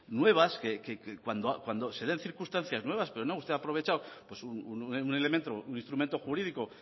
nuevas que cuando se den circunstancias nuevas pero no usted ha aprovechado un elemento un instrumento jurídico